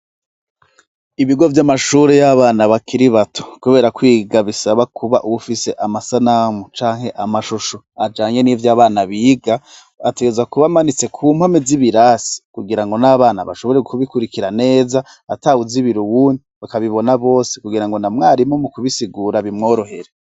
Ibigo vy'amashuri y'abana bakiri bato, kubera kwiga bisaba kuba ufise amasanamu canke amashushu ajanye n'ivyo abana biga ateza kubamanitse ku mpome z'ibirasi kugira ngo n'abana bashobore kubikurikira neza ata wuzibiri uwundi bakabibona bose kugira ngo na mwarimu mu kubisigura bimworohe.